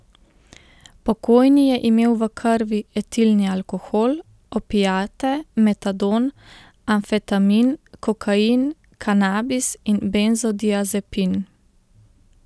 Pokojni je imel v krvi etilni alkohol, opiate, metadon, amfetamin, kokain, kanabis in benzodiazepin.